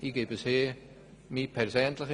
Frau Regierungsrätin Egger hat es zuvor gesagt: